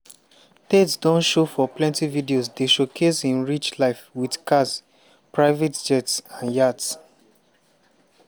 tate don show for plenty videos dey showcase im rich life wit cars private jets and yachts.